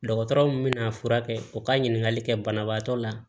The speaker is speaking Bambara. Dɔgɔtɔrɔ mun bɛna furakɛ o ka ɲininkali kɛ banabaatɔ la